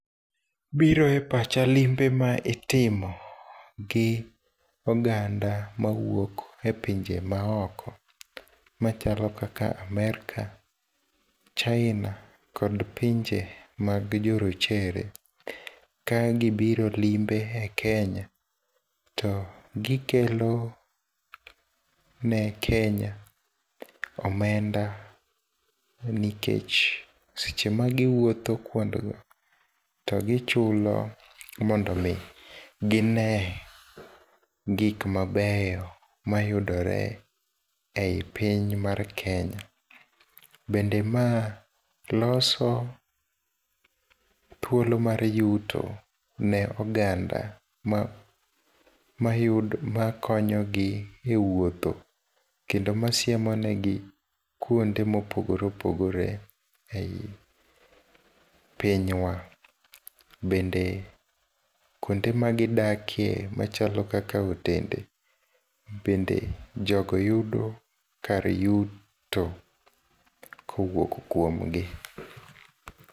Biro e pacha limbe ma itimo, gi oganda mawuok e pinje ma oko machalo kaka Amerka, China kod pinje mag jorochere. Ka gibiro limbe e Kenya to gikelo ne Kenya, omenda nikech seche magiwuotho kwondgo, to gichulo mondo mi ginee gik mabeyo mayudore e i piny mar Kenya. Bende ma loso thuolo mar yuto ne oganda ma konyogi e wuotho kendo masiemonegi kuonde mopogoreopogore e i pinywa. Bende kuonde ma gidakie machalo kaka otende bende jogo yudo kar yuto kowuok kuomgi.